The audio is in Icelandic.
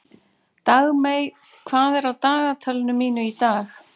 Dagmey, hvað er á dagatalinu mínu í dag?